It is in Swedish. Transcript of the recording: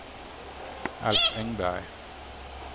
Alf Engberg